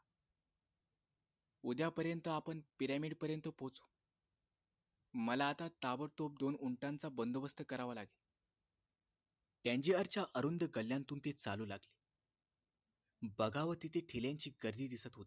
उद्यापर्यंत आपण pyramid पर्यंत पोचू मला आता ताबडतोब दोन उंटांचा बंदोबस्त करावा लागेल टँझीयरच्या अरुंद गल्ल्यांतून ते चालू लागले बगावे तिथे ठेल्यांची गर्दी दिसत होती